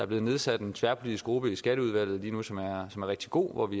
blevet nedsat en tværpolitisk gruppe i skatteudvalget som er rigtig god